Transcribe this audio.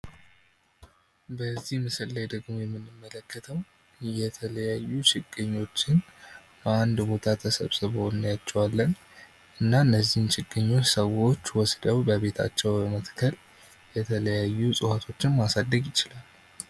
በዚህ ምስል ላይ ደግሞ የምንመለከተው የተለያዩ ችግኞችን አንድ ቦታ ተሰብስበው እናያቸዋለን። እና እነዚህን ችግኞች ሰዎች ወስደው በቤታቸው በመትከል የተለያዩ እፅዋቶችን ማሳደግ ይችላሉ።